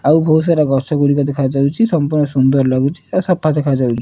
ଆଉ ବୋହୁତ ସାରା ଗଛ ଗୁଡିକ ଦେଖାଯାଉଛି। ସମ୍ପୂର୍ଣ ସୁନ୍ଦର ଲାଗୁଛି। ଆଉ ସଫା ଦେଖା ଯାଉଛି।